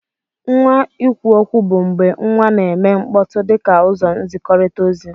Nwa ikwuokwu bu mgbe nwa na eme mkpọtụ dika uzọ nzikọrita ozi.